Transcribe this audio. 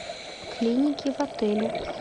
клиники в отеле